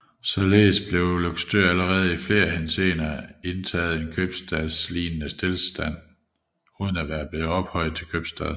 Således havde Løgstør allerede i flere henseender indtaget en købstadslignende stilling uden at være blevet ophøjet til købstad